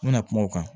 N bɛna kuma o kan